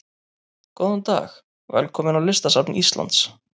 Góðan dag. Velkomin á Listasafn Íslands.